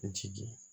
Jigi